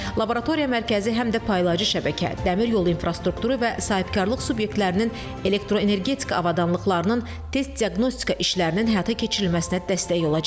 Laboratoriya mərkəzi həm də paylayıcı şəbəkə, dəmir yolu infrastrukturu və sahibkarlıq subyektlərinin elektroenergetika avadanlıqlarının test diaqnostika işlərinin həyata keçirilməsinə dəstək olacaq.